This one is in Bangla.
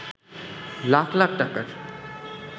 লাখ লাখ টাকার